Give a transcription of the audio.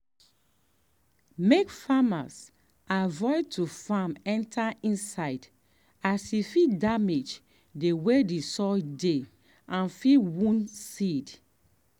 make farmers avoid to farm enter inside as e fit damage the way the soil dey and fit wound seed.